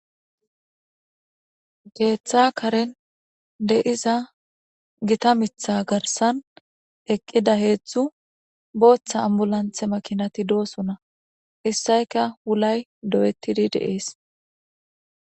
Keetha Karen de'iza Gita mitha garsan eqida heezu bootha ambulanse makinati doosona. Issayka wulay doo'etidi de'es.